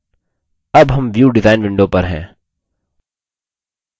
अब हम view design window पर हैं